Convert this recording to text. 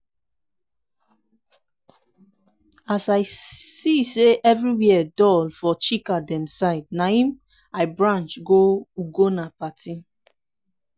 as i see say everywhere dull for chika dem side na im i branch go ugonna party